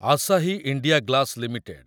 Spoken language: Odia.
Asahi India glass limited